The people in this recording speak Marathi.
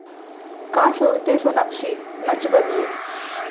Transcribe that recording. का सोडतेय सोनाक्षी 'नच बलिए'?